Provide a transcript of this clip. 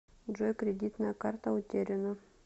джой кредитная карта утеряна